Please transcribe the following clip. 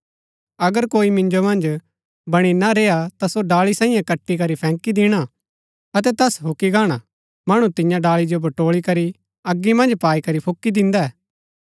अगर कोई मिन्जो मन्ज बणी ना रेय्आ ता सो डाळी सांईये कटि करी फैंकी दिणा अतै तैस हूक्की गाणा मणु तियां डाळी जो बटोळी करी अगी मन्ज पाई करी फूकी दिन्दै